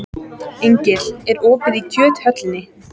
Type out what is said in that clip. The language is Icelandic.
Engill, er opið í Kjöthöllinni?